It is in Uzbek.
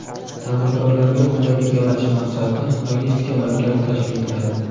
Tadbirkorlarga qulaylik yaratish maqsadida logistika markazi tashkil etiladi.